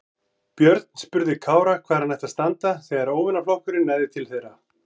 Björn spurði Kára hvar hann ætti að standa þegar óvinaflokkurinn næði til þeirra.